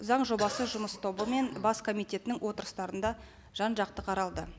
заң жобасы жұмыс тобы мен бас комитетінің отырыстарында жан жақты қаралды